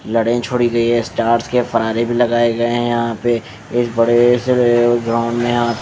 लड़ाई छोड़ी गई है स्टार्स के फरारे भी लगाए गए हैं यहाँ पे इस बड़े से ग्राउन्ड में --